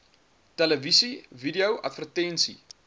televisie video advertensie